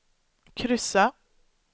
kryssa